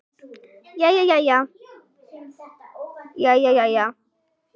Jæja, jæja.